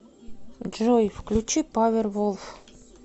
джой включи павервулф